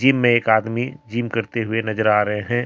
मे एक आदमी जिम करते हुए नजर आ रहे हैं।